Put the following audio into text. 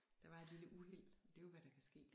Der var et lille uheld det jo hvad der kan ske